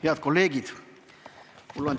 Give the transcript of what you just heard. Head kolleegid!